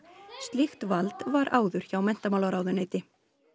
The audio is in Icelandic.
slíkt vald var áður hjá menntamálaráðuneyti